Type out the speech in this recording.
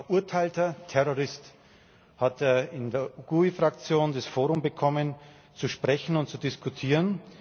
Ein verurteilter Terrorist hatte in der GUE Fraktion das Forum bekommen, zu sprechen und zu diskutieren.